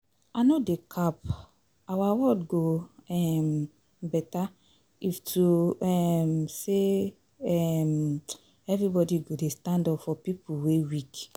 I no dey cap, our world go um beta if to um say um everybody go dey stand up for pipo wey weak